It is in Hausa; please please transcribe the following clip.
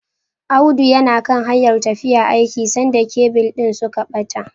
Audi yana kan hanyar tafiya aiki sanda kebil din suka bata.